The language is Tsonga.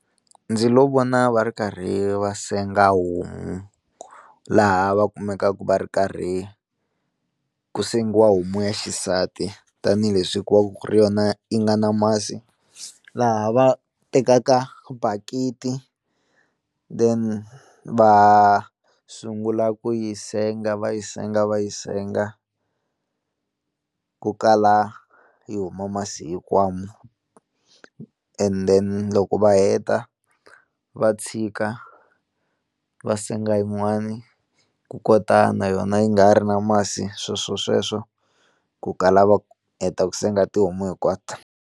Ndzi lo vona va ri karhi va senga homu laha va kumekaka va ri karhi ku sengiwa homu ya xisati tanihileswi ku va ku ri yona yi nga na masi laha va tekaka bakiti then va sungula ku yi senga va yi senga va yi senga ku kala yi huma masi hinkwawo, and then loko va heta va tshika va senga yin'wani ku kota na yona yi nga ha ri na masi sweswosweswo ku kala va heta ku senga tihomu hinkwato.